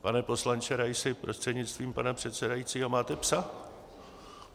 Pane poslanče Raisi, prostřednictvím pana předsedajícího, máte psa?